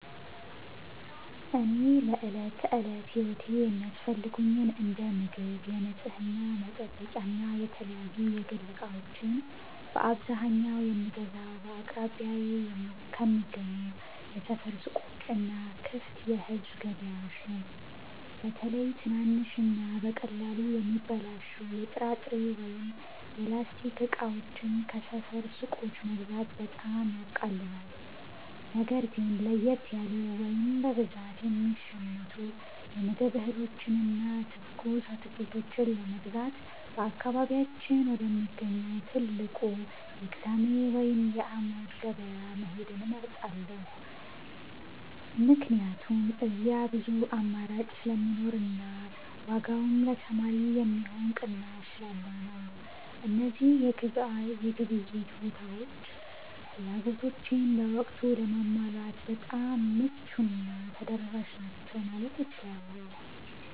እኔ ለዕለት ተዕለት ሕይወቴ የሚያስፈልጉኝን እንደ ምግብ፣ የንጽሕና መጠበቂያና የተለያዩ የግል ዕቃዎችን በአብዛኛው የምገዛው በአቅራቢያዬ ከሚገኙ የሰፈር ሱቆችና ክፍት የሕዝብ ገበያዎች ነው። በተለይ ትናንሽና በቀላሉ የሚበላሹ የጥራጥሬ ወይም የላስቲክ ዕቃዎችን ከሰፈር ሱቆች መግዛት በጣም ያቃልላል። ነገር ግን ለየት ያሉ ወይም በብዛት የሚሸመቱ የምግብ እህሎችንና ትኩስ አትክልቶችን ለመግዛት በአካባቢያችን ወደሚገኘው ትልቁ የቅዳሜ ወይም የዓሙድ ገበያ መሄድን እመርጣለሁ፤ ምክንያቱም እዚያ ብዙ አማራጭ ስለሚኖርና ዋጋውም ለተማሪ የሚሆን ቅናሽ ስላለው ነው። እነዚህ የግብይት ቦታዎች ፍላጎቶቼን በወቅቱ ለማሟላት በጣም ምቹና ተደራሽ ናቸው ማለት እችላለሁ።